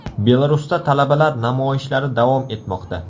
Belarusda talabalar namoyishlari davom etmoqda.